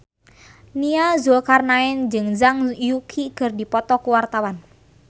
Nia Zulkarnaen jeung Zhang Yuqi keur dipoto ku wartawan